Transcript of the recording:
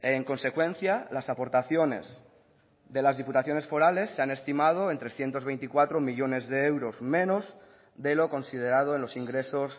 en consecuencia las aportaciones de las diputaciones forales se han estimado en trescientos veinticuatro millónes de euros menos de lo considerado en los ingresos